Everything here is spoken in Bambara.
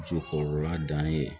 Muso kɔrɔla dan ye